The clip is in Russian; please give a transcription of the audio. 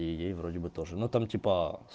и ей вроде бы тоже но там типа